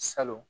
Salon